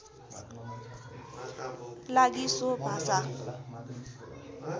लागि सो भाषा